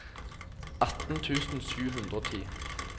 atten tusen sju hundre og ti